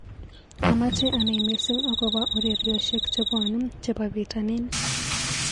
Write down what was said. Amache anai missing akobo ureryoshek chebwonee chebo pitanin.